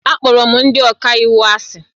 Akpọrọ m ndị ọka iwu asị